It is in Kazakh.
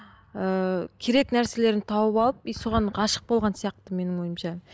ыыы керек нәрселерін тауып алып соған ғашық болған сияқты менің ойымша